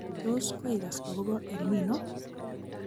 Tos koigas akobo EL Nino?